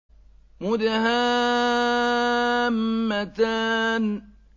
مُدْهَامَّتَانِ